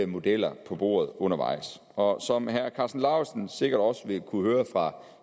modeller på bordet undervejs og som herre karsten lauritzen sikkert også vil kunne høre fra